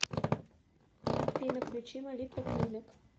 афина включи молитва клинак